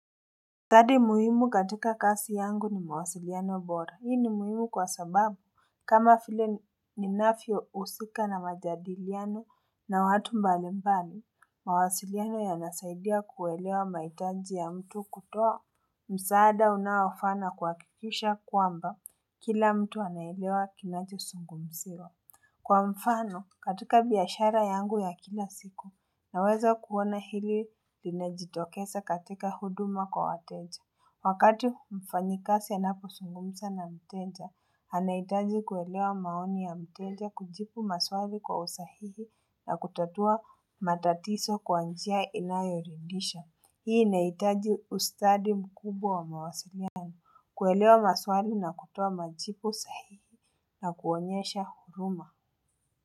Tadi muhimu katika kasi yangu ni mawasiliano bora, hii ni muhimu kwa sababu kama vile ninavyousika na majadiliano na watu mbalimbali, mawasiliano yanasaidia kuelewa mahitaji ya mtu kutoa. Msaada unaofaa na kuhakikisha kwamba kila mtu anaelewa kinachozungumziwa. Kwa mfano katika biashara yangu ya kila siku, naweza kuona hili linajitokesa katika huduma kwa wateja. Wakati mfanyikasi ya anapo sungumisa na mteja, anaitaji kuelewa maoni ya mteja kujibu maswali kwa usahihi na kutatua matatiso kwa njia inayoridisha. Hii inahitaji ustadi mkubwa wa mawasiliano. Kuelewa maswali na kutoa majibu sahihi na kuonyesha huruma.